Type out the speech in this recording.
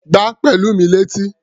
Gbá Pẹ̀lúmi létí!